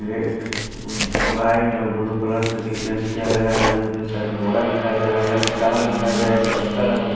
ये एक वाइट और ब्ल्यू कलर से री पेंट किया गया है यहां पे साइड बोरा दिखाई दे रहा है यहां पे कार दिखाई दे रहा यहां पे चक्का लगा--